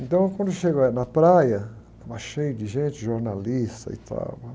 Então, quando eu chego, eh, na praia, estava cheio de gente, jornalistas e tal. Uma...